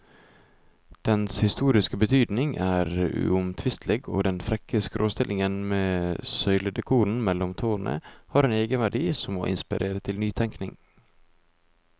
Dens historiske betydning er uomtvistelig, og den frekke skråstillingen med søyledekoren mellom tårnene har en egenverdi som må inspirere til nytenkning.